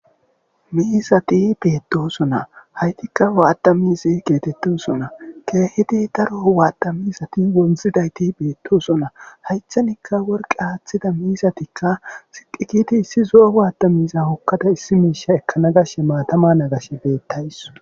Miisati beettosona haytikka waatta misi geetettosona keehidi daro waatta miisati wonzidayti beettosona haychanikka worqe aaththida miisatikka siqikiti issi zo'o waatta miiza wokkada issi miisha ekkana gashe maatama nagash beettays.